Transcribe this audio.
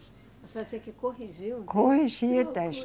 A senhora tinha que corrigir um. Corrigir o texto.